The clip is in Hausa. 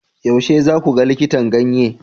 Yaushe za ku ga likitan ganye?